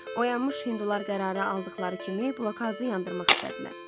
Oyanmış hindular qərarı aldıqları kimi blokhauzu yandırmaq istədilər.